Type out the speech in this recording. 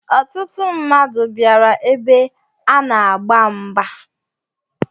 Ọtụtụ mmadụ bịara ebe a na agba mgba.